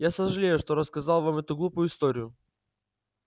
я сожалею что рассказал вам эту глупую историю